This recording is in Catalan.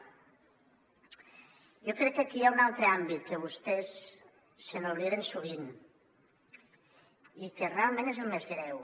jo crec que aquí hi ha un altre àmbit que vostès obliden sovint i que realment és el més greu